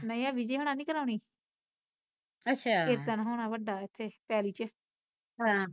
ਨਹੀਂ ਆਹ ਵਿਜੇ ਹੁਣਾ ਨੀ ਕਰਾਉਣੀ ਕੀਰਤਨ ਹੋਣਾ ਵੱਡਾ ਇਥੇ ਪੈਲੀ ਚ